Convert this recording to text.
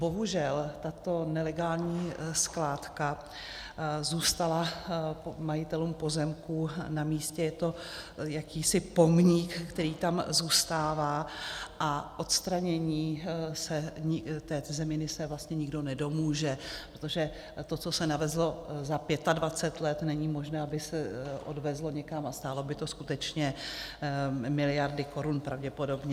Bohužel tato nelegální skládka zůstala majitelům pozemků na místě, je to jakýsi pomník, který tam zůstává, a odstranění té zeminy se vlastně nikdo nedomůže, protože to, co se navezlo za 25 let, není možné, aby se odvezlo někam, a stálo by to skutečně miliardy korun pravděpodobně.